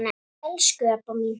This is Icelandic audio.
Elsku Ebba mín.